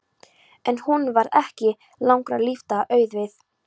En honum varð ekki langra lífdaga auðið.